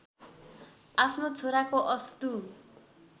आफ्नो छोराको अस्तु